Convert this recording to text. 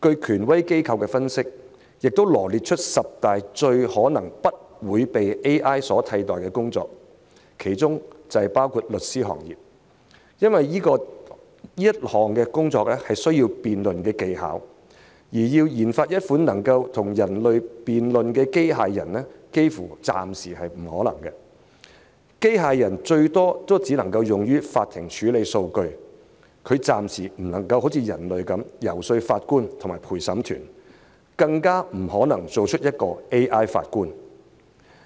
權威機構分析並羅列出十大最可能不會被 AI 取代的工作，其中包括律師行業，因為這項工作需要辯論技巧，而要研發一款能跟人類辯論的機械人，暫時幾乎是不可能的，機械人最多只能用於在法庭處理數據，暫時不能好像人類般遊說法官和陪審團，更不可能造出一位 AI 法官。